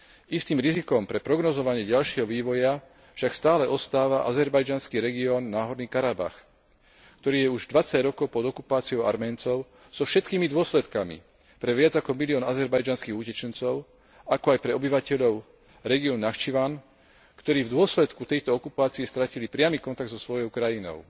Istým rizikom pre prognózovanie ďalšieho vývoja však stále ostáva azerbajdžanský región Náhorný Karabach, ktorý je už 20 rokov pod okupáciou Arménov so všetkými dôsledkami pre viac ako milión azerbajdžanských utečencov, ako aj pre obyvateľov regiónu Nakčivan, ktorí v dôsledku tejto okupácie stratili priamy kontakt so svojou krajinou.